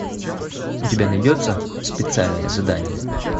у тебя найдется специальное задание